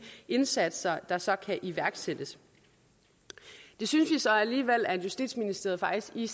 indsatser der så kan iværksættes det synes vi så alligevel at justitsministeriet faktisk i